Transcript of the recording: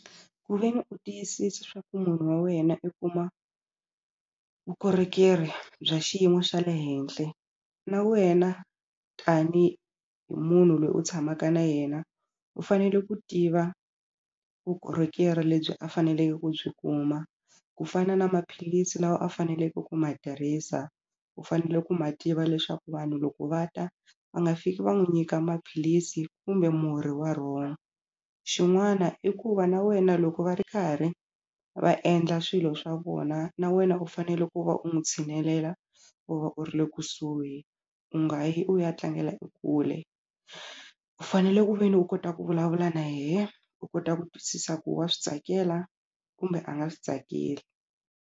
Ku ve ni u tiyisisa swa ku munhu wa wena i kuma vukorhokeri bya xiyimo xa le henhla na wena tanihi munhu loyi u tshamaka na yena u fanele ku tiva vukorhokeri lebyi a faneleke ku byi kuma ku fana na maphilisi lawa a faneleke ku ma tirhisa u fanele ku ma tiva leswaku vanhu loko va ta va nga fiki va n'wu nyika maphilisi kumbe murhi wa wrong xin'wana i ku va na wena loko va ri karhi va endla swilo swa vona na wena u fanele ku va u n'wi tshinelela u va u ri le kusuhi u nga yi u ya tlangela e kule u fanele ku veni u kota ku vulavula na yehe u kota ku twisisa ku wa swi tsakela kumbe a nga swi tsakeli.